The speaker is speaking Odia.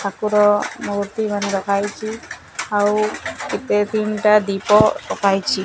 ଠାର ମୂର୍ତ୍ତି ମାନେ ରଖା ଯାଇଛି ଆଉ କେତେ ତିନିଟା ଦୀପ ରଖା ଯାଇଛି।